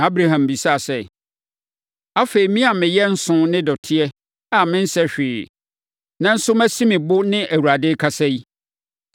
Na Abraham bisaa sɛ, “Afei, me a meyɛ nsõ ne dɔteɛ a mensɛ hwee, nanso masi me bo ne Awurade akasa yi,